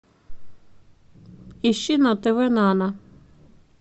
ищи на тв нано